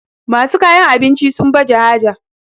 masu kayan abinci sun baje haja